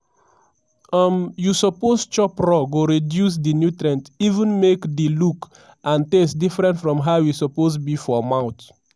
um you suppose chop raw go reduce di nutrient even make di look and taste different from how e suppose be for mouth.